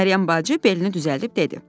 Məryəm bacı belini düzəldib dedi.